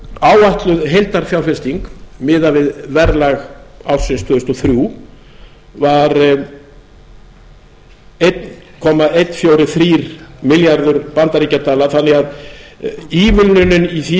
áætluð heildarfjárfesting miðað við verðlag ársins tvö þúsund og þrjú var einn komma einn fjögurra þrjú milljarður bandaríkjadala þannig að ívilnunin í því